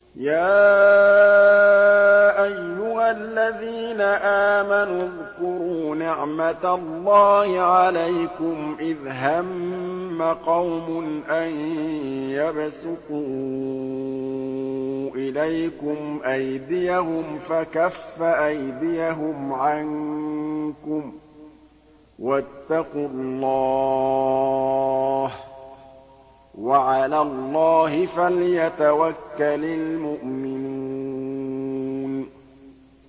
يَا أَيُّهَا الَّذِينَ آمَنُوا اذْكُرُوا نِعْمَتَ اللَّهِ عَلَيْكُمْ إِذْ هَمَّ قَوْمٌ أَن يَبْسُطُوا إِلَيْكُمْ أَيْدِيَهُمْ فَكَفَّ أَيْدِيَهُمْ عَنكُمْ ۖ وَاتَّقُوا اللَّهَ ۚ وَعَلَى اللَّهِ فَلْيَتَوَكَّلِ الْمُؤْمِنُونَ